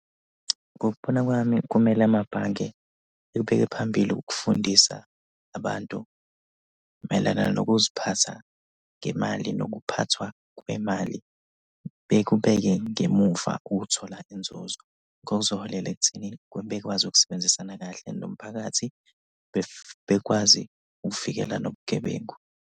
Ngokubona kwami kumele amabhange ebeke phambili ukufundisa abantu mayelana nokuziphatha ngemali nokuphathwa kwemali. Bekubeke ngemuva ukuthola inzuzo. Kuzoholela ekuthenini bekwazi ukusebenzisana kahle nomphakathi. Bekwazi ukuvikela nobugebengu.